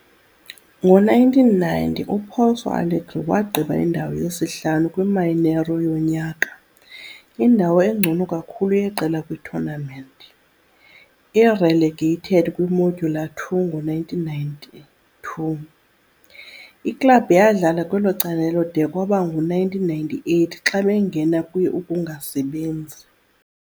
Ngo-1990, uPouso Alegre wagqiba indawo yesihlanu kwi-Mineiro yonyaka, indawo engcono kakhulu yeqela kwi-tournament. I-Relegated kwi-Módulo II ngo-1992, iklabhu yadlala kwelo candelo de kwaba ngu-1998 xa bangena kwi-ukungasebenzi.